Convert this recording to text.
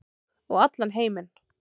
Og allan heiminn.